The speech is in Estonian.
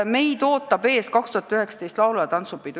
Meid ootab ees 2019. aasta laulu- ja tantsupidu.